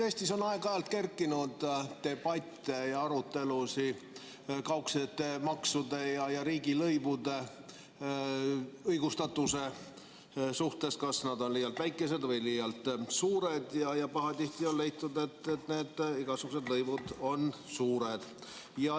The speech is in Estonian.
Eestis on aeg-ajalt kerkinud debatte ja arutelusid kaudsete maksude ja riigilõivude õigustatuse kohta, kas nad on liialt väikesed või liialt suured, ja pahatihti on leitud, et need igasugused lõivud on suured.